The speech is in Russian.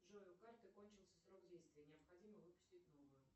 джой у карты кончился срок действия необходимо выпустить новую